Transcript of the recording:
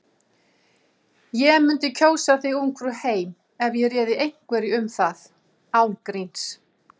Ég mundi kjósa þig Ungfrú heim ef ég réði einhverju um það. án gríns.